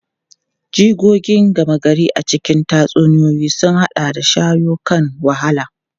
Jigogi gama gari a cikin tatsuniyoyi sun haɗa da shawo kan wahala.